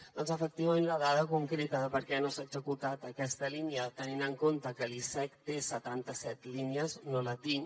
doncs efectivament la dada concreta de per què no s’ha executat aquesta línia tenint en compte que l’icec té setantaset línies no la tinc